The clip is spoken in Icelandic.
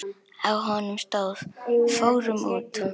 Á honum stóð: Fórum út!